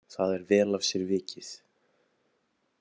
Það er vel af sér vikið.